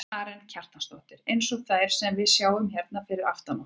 Karen Kjartansdóttir: Eins og þær sem við sjáum hérna fyrir aftan okkur?